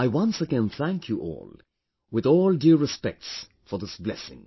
I once again thank you all with all due respects for this blessing